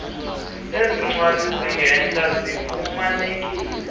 ezincwadi zindenhla zifumanekile